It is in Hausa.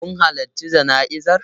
Kun halarci jana'izar?